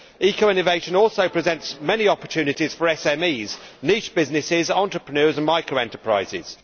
Eco innovation also presents many opportunities for SMEs, niche businesses, entrepreneurs and micro enterprises...